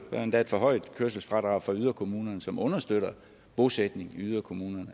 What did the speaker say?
er endda et forhøjet kørselsfradrag for yderkommunerne som understøtter bosætning i yderkommunerne